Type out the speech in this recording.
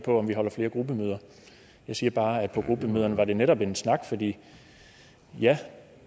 af gruppemøder jeg siger bare at på gruppemøderne var det netop en snak fordi ja